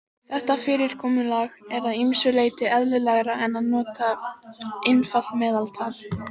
Þetta fyrirkomulag er að ýmsu leyti eðlilegra en að nota einfalt meðaltal.